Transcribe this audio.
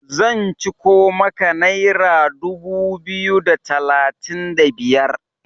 zan ciko maka naira dubu biyu da talatin da biyar!